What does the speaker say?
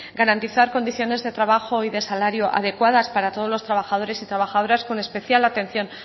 garantizar condiciones de trabajo y de salario adecuadas para todos los trabajadores y trabajadoras con especial atención